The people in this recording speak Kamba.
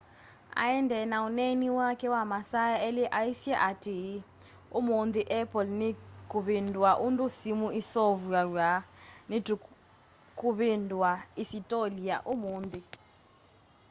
aendee na ũneeni wake wa masaa eli aisye atii ũmunthi apple nikuvindua undu simu iseuvaw'a nitukuvindua isitolia umunthi